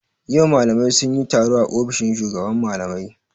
Yau malamai sun yi taro a ofishin shugaban malamai.